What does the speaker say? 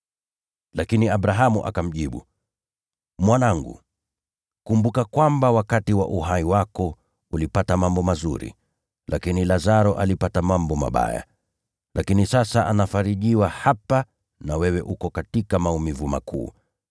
“Lakini Abrahamu akamjibu, ‘Mwanangu, kumbuka kwamba wakati wa uhai wako ulipata mambo mazuri, lakini Lazaro alipata mambo mabaya. Lakini sasa anafarijiwa hapa na wewe uko katika maumivu makuu.